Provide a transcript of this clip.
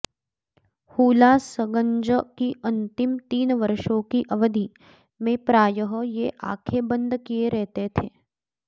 हुलासगंज की अंतिम तीन वर्षों की अवधि में प्रायः ये ऑंखें बंद किये रहते थे